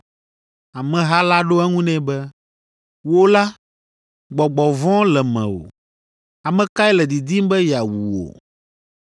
Ameha la ɖo eŋu nɛ be, “Wò la, gbɔgbɔ vɔ̃ le mewò! Ame kae le didim be yeawu wò?”